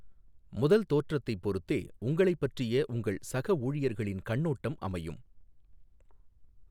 முதல் தோற்றத்தைப் பொறுத்தே, உங்களைப் பற்றிய உங்கள் சக ஊழியர்களின் கண்ணோட்டம் அமையும்.